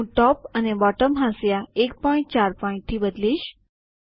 હું ટોપ અને બોટમ હાંસિયા 14પીટ થી બદલીશ